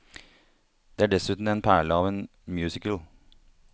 Det er dessuten en perle av en musical.